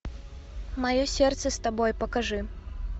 мое сердце с тобой покажи